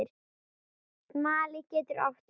Smali getur átt við